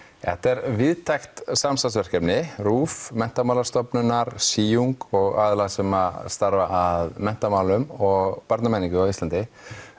þetta er víðtækt samstarfsverkefni RÚV Menntamálastofnunar s í ung og aðila sem starfa að menntamálum og barnamenningu á Íslandi